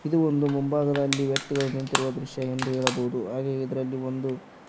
ಇದು ಒಂದು ಮುಂಭಾಗದಲ್ಲಿ ವ್ಯಕ್ತಿಗಳು ನಿಂತಿರುವ ದೃಶ್ಯ ಎಂದು ಹೇಳಬಹುದು ಹಾಗೆ ಇದರಲ್ಲಿ ಒಂದು--